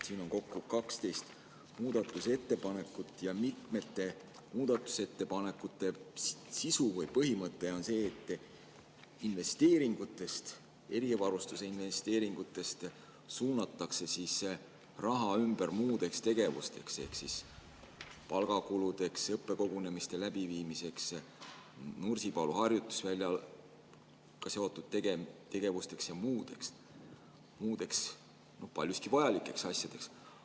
Siin on kokku 12 muudatusettepanekut ja mitmete muudatusettepanekute sisu või põhimõte on see, et investeeringutest, erivarustuse investeeringutest suunatakse raha ümber muudeks tegevusteks ehk palgakuludeks, õppekogunemiste läbiviimiseks, Nursipalu harjutusväljaga seotud tegevusteks ja muudeks paljuski vajalikeks asjadeks.